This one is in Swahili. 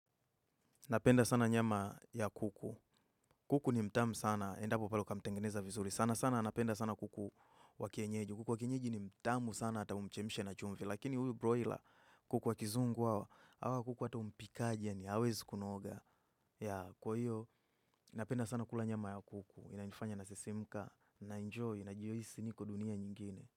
Napenda sana nyama ya kuku. Kuku ni mtamu sana. Endapo pale ukamtengeneza vizuri. Sana sana napenda sana kuku wakienyeji. Kuku wakienyeji ni mtamu sana ataumchemshe na chumvi. Lakinihuyu broila kuku wakizungu hawa. Hawa kuku ata umpikajeyaa ni hawezi kunoga. Kwa hiyo napenda sana kula nyama ya kuku. Inanifanya na sisimka. Na enjoy. Najihisi ni kodunia nyingine.